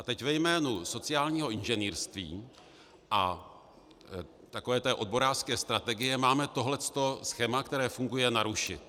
A teď ve jménu sociálního inženýrství a takové té odborářské strategie máme tohle schéma, které funguje, narušit.